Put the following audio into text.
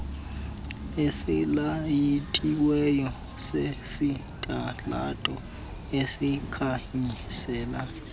esilayitiweyo sesitalato esikhanyisela